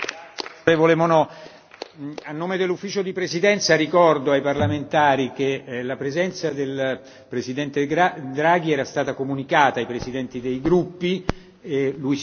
A nome dell'Ufficio di presidenza ricordo ai parlamentari che la presenza del Presidente Draghi era stata comunicata ai presidenti dei gruppi e lui si poteva trattenere fino alle